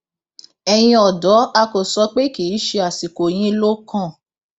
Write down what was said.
ẹyin ọdọ a kò sọ pé kì í ṣe àsìkò yín ló kàn